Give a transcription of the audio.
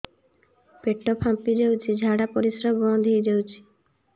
ପେଟ ଫାମ୍ପି ଯାଉଛି ଝାଡା ପରିଶ୍ରା ବନ୍ଦ ହେଇ ଯାଉଛି